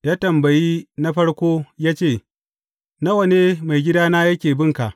Ya tambayi na farkon ya ce, Nawa ne maigidana yake bin ka?’